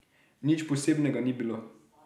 Nič posebnega ni bilo.